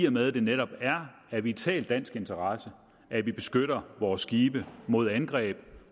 og med at det netop er af vital dansk interesse at vi beskytter vores skibe mod angreb